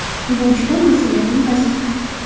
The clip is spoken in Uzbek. Bu juda mas’uliyatli vazifa.